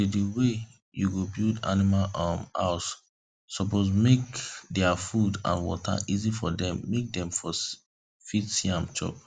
the the way you go build animal um house suppose make their food and water easy for dem make dem fit see am chop